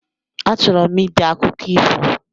A chọrọ m ide akụkọ ifo